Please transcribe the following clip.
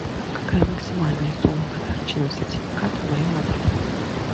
какая максимальная сумма подарочного сертификата в моем отеле